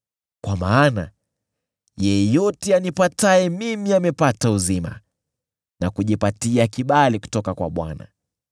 Kwa maana yeyote anipataye mimi amepata uzima na kujipatia kibali kutoka kwa Bwana .